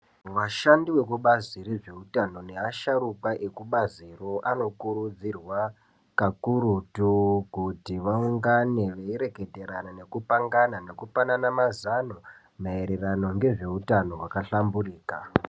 Vashandi vekubazi rezveutano neasharuka ekubaziro anokurudzirwa kakurutu kuti vaungane veireketerana nekupangana nekupanana mazano maererano ngezveutano hwaka hlamburika.